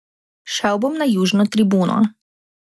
Šel bom na južno tribuno.